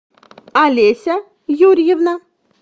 олеся юрьевна